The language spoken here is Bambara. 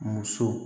Muso